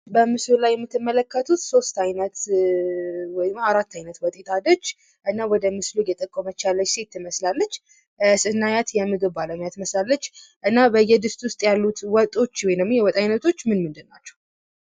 በምስሉ ላይ የምትመለከቱት ሦስት አይነት ወይም ደግሞ አራት አይነት ወጦች የጣደች እና ወደ ምስሉ እየጠቆመች ያለች ሴት ትመስላለች። ስናያት የምግብ ባለሙያ ትመስላለች። እና በየድስቱ ዉስጥ ያሉ ወጦች ወይም ደግሞ የወጥ አይነት ምን ምን ናቸዉ?